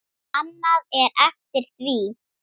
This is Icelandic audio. Annað er eftir því.